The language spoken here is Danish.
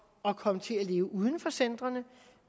at komme til at leve uden for centrene